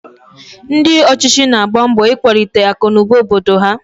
Ndị ọchịchị na-agba mbọ ikwalite akụnụba obodo ha